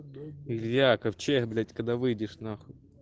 нельзя ковчег блять когда выйдешь нахуй